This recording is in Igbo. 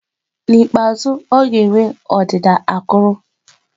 N'ikpeazụ, ọ ga-enwe ọdịda akụrụ.